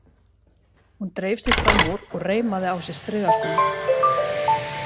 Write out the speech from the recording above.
Hún dreif sig fram úr og reimaði á sig strigaskóna.